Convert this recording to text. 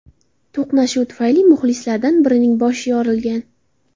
To‘qnashuv tufayli muxlislardan birining boshi yorilgan.